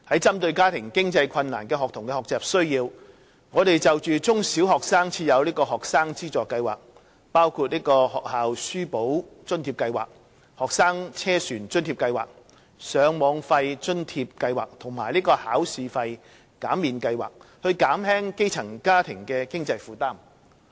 針對家庭經濟困難的學童的學習需要，我們就中、小學生設有學生資助計劃，包括"學校書簿津貼計劃"、"學生車船津貼計劃"、"上網費津貼計劃"及"考試費減免計劃"，以減輕基層家庭的經濟負擔。